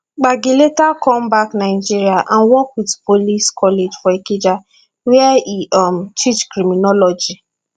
gbagi later come back nigeria and work wit police college for ikeja wia e um teach criminology